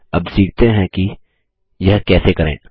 अब सीखते हैं कि यह कैसे करें